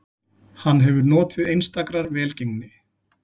Hann hefur notið einstakrar velgengni